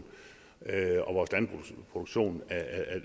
og produktion